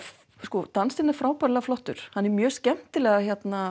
sko dansinn er frábærlega flottur hann er mjög skemmtilega